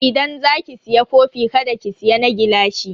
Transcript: Idan za ki siya kofi kada ki siya na gilashi.